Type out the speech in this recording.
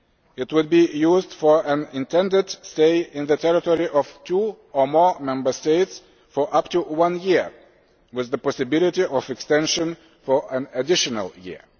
It would be used for an intended stay in the territory of two or more Member States of up to one year, with the possibility of extension for an additional year.